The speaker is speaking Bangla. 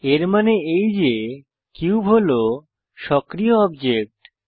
এর মানে এই যে কিউব হল সক্রিয় অবজেক্ট